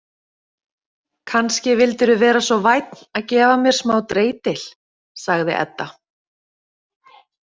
Kannski vildir þú vera svo vænn að gefa mér smá dreitil, sagði Edda.